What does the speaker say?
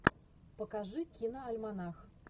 покажи киноальманах